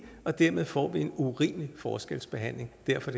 og dermed får vi en urimelig forskelsbehandling derfor